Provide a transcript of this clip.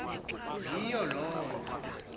yiyo loo nto